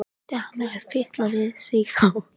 Skyldi hann hafa fitlað við sig þá?